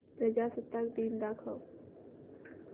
प्रजासत्ताक दिन दाखव